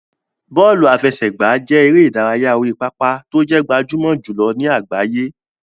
Bọ́ọ̀lù àfẹsẹ̀gbá jẹ́ eré ìdárayá orí pápá tó jẹ́ gbajúmọ̀ jùlọ ní àgbáyé.